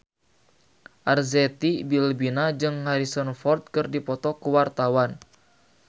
Arzetti Bilbina jeung Harrison Ford keur dipoto ku wartawan